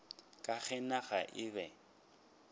ka ge naga e be